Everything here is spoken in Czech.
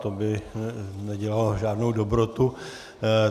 To by nedělalo žádnou dobrotu.